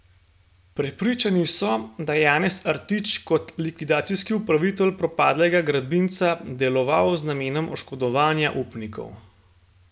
Prepričani so, da je Janez Artič kot likvidacijski upravitelj propadlega gradbinca deloval z namenom oškodovanja upnikov.